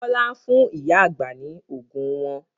Bọlá ń fún ìyá àgbà ni oògùn wọn